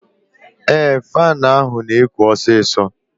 Ee, faanụ ahụ na-ekụ osisọ